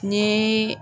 Ni